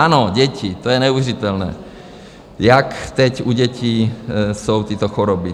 Ano, děti, to je neuvěřitelné, jak teď u dětí jsou tyto choroby.